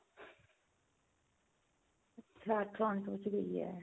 ਅੱਛਾ toronto ਚ ਗਈ ਏ